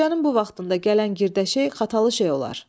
Gecənin bu vaxtında gələn girdə şey xatalı şey olar.